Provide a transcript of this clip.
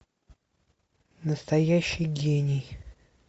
настоящий гений